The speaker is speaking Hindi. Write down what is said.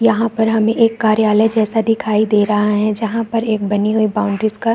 यहाँ पर हमें एक कार्यालय जैसा दिखाई दे रहा है जहाँ पर एक बनी हुई बाउंड्रीस का --